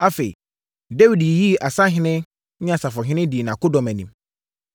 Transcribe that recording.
Afei, Dawid yiyii asahene ne asafohene dii nʼakodɔm anim.